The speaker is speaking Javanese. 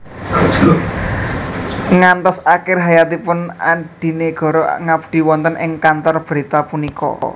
Ngantos akhir hayatipun Adinegoro ngabdi wonten ing kantor berita punika